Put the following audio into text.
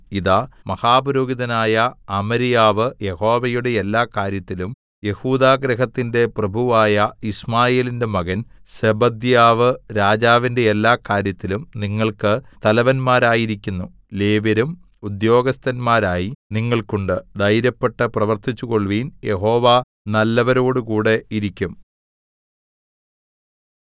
ഇതാ മഹാപുരോഹിതനായ അമര്യാവ് യഹോവയുടെ എല്ലാകാര്യത്തിലും യെഹൂദാഗൃഹത്തിന്റെ പ്രഭുവായ യിശ്മായേലിന്റെ മകൻ സെബദ്യാവ് രാജാവിന്റെ എല്ലാകാര്യത്തിലും നിങ്ങൾക്ക് തലവന്മാരായിരിക്കുന്നു ലേവ്യരും ഉദ്യോഗസ്ഥന്മാരായി നിങ്ങൾക്കുണ്ട് ധൈര്യപ്പെട്ട് പ്രവർത്തിച്ചുകൊൾവീൻ യഹോവ നല്ലവരോടുകൂടെ ഇരിക്കും